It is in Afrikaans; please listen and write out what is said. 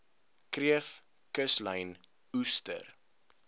kreef kuslyn oester